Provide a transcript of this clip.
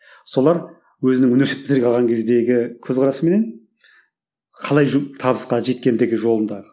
солар өзінің университеттегі алған кездегі көзқарасыменен қалай табысқа жеткендігі жолындағы